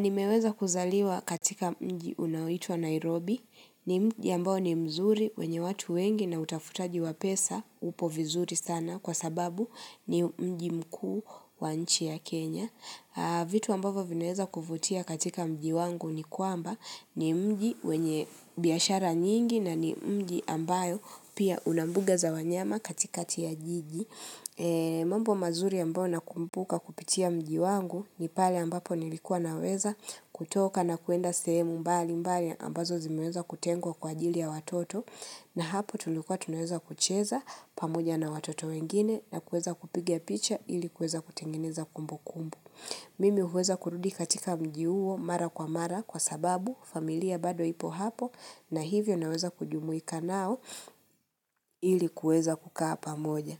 Nimeweza kuzaliwa katika mji unaoitwa Nairobi, ni mji ambao ni mzuri wenye watu wengi na utafutaji wa pesa upo vizuri sana kwa sababu ni mji mkuu wa nchi ya Kenya. Vitu ambavo vinaweza kufutia katika mji wangu ni kwamba ni mji wenye biashara nyingi na ni mji ambayo pia unambuga za wanyama katikati ya jiji. Mambo mazuri ambao na kumbuka kupitia mji wangu ni pale ambapo nilikuwa naweza kutoka na kuenda sehemu mbali mbali ambazo zimeweza kutengwa kwa ajili ya watoto na hapo tulikuwa tunaweza kucheza pamoja na watoto wengine na kueza kupiga picha ilikuweza kutengeneza kumbu kumbu Mimi uweza kurudi katika mji huo mara kwa mara kwa sababu familia bado ipo hapo na hivyo naweza kujumuika nao ilikuweza kukaa pamoja